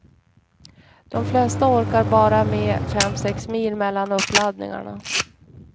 De flesta orkar bara med fem sex mil mellan uppladdningarna.